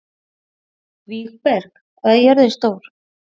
Vígberg, hvað er jörðin stór?